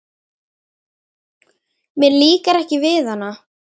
Mér líkar ekki við hana.